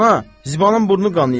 Ana, Zibanın burnu qanıyib.